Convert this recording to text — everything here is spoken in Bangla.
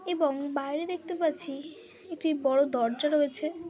এবং বাইরে দেখতে পাচ্ছি একটি বড়ো দরজা রয়েছে।